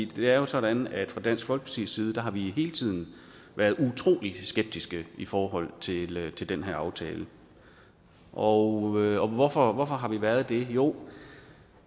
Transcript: det er jo sådan at fra dansk folkepartis side har vi hele tiden været utrolig skeptiske i forhold til til den her aftale og hvorfor har vi været det jo